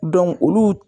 olu